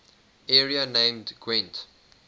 area named gwent